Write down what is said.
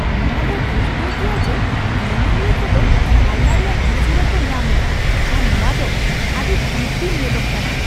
ᱱᱚᱶᱟ ᱫᱚ ᱯᱩᱥᱴᱟᱹᱣ ᱜᱮᱭᱟ ᱡᱮ ᱧᱮᱧᱮᱞᱤᱭᱟᱹ ᱠᱚᱫᱚ ᱦᱟᱞᱞᱟ ᱨᱮᱭᱟᱜ ᱤᱥᱟᱹᱨᱟ ᱠᱚ ᱧᱟᱢᱮᱫᱟ ᱟᱨ ᱱᱚᱶᱟ ᱫᱚ ᱟᱹᱰᱤ ᱠᱤᱨᱛᱤᱢ ᱧᱮᱞᱚᱜ ᱠᱟᱱᱟ ᱾